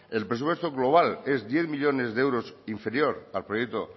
el presupuesto global es diez millónes de euros inferior al proyecto